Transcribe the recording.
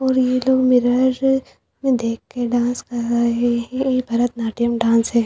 और यह लोग मिरर मैं देख के डांस कर रहे हैं यह भरतनाट्यम डांस है।